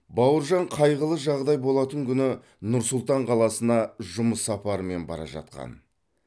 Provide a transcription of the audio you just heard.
бауыржан қайғылы жағдай болатын күні нұр сұлтан қаласына жұмыс сапарымен бара жатқан